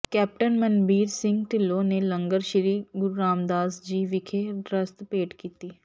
captain Manbir Singh Dhillon ਨੇ ਲੰਗਰ ਸ੍ਰੀ ਗੁਰੂ ਰਾਮਦਾਸ ਜੀ ਵਿਖੇ ਰਸਦ ਭੇਟ ਕੀਤੀ